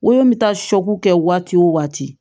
Woro bɛ taa kɛ waati o waati